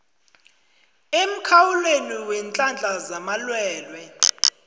emkhawulweni weenhlahla zamalwelwe